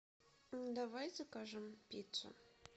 давай закажем пиццу